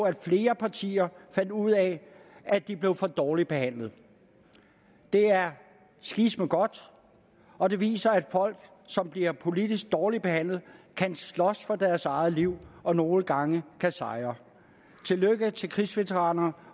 at flere partier fandt ud af at de blev for dårligt behandlet det er sgisme godt og det viser at folk som bliver politisk dårligt behandlet kan slås for deres eget liv og nogle gange kan sejre tillykke til krigsveteranerne